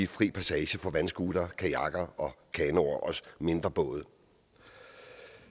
fri passage for vandscootere kajakker kanoer og mindre både